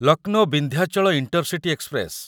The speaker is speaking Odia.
Lucknow Vindhyachal intercity express